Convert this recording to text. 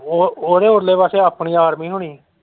ਉਹ ਉਹਦੇ ਉਰਲੇ ਪਾਸੇ ਆਪਣੀ army ਹੁਣੀ।